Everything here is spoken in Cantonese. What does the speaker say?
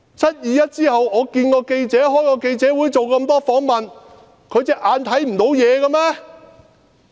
"七二一"後我會見記者，開記者會，做了很多訪問，他看不見嗎？